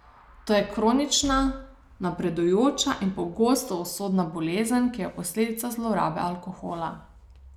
To je kronična, napredujoča in pogosto usodna bolezen, ki je posledica zlorabe alkohola.